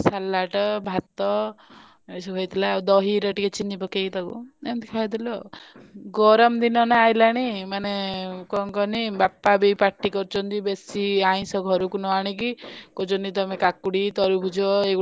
Salad ଭାତ ଏଇ ସବୁ ହେଇଥିଲା ଆଉ ଦହିରେ ଟିକେ ଚିନୀ ପକେଇ ତାକୁ ଏମିତି ଖାଇଥିଲୁ ଆଉ ଗରମ ଦିନ ନା ଆଇଲାଣି ମାନେ କଣ କହନି? ବାପା ବି ପାଟି କରୁଛନ୍ତି ବେଶୀ ଅଇଂଷ ଘରକୁ ନଆଣିକି କହୁଛନ୍ତି ତମେ କାକୁଡି ତରବୁଜ।